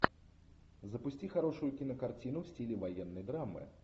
запусти хорошую кинокартину в стиле военной драмы